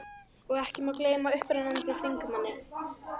Og ekki má gleyma upprennandi þingmanni